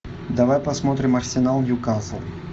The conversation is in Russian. давай посмотрим арсенал ньюкасл